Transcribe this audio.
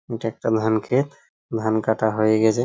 এটা একটা ধান ক্ষেত ধান কাটা হয়ে গেছে।